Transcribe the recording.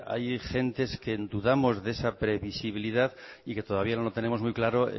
hay gente que dudamos de esa previsibilidad y que todavía no lo tenemos muy claro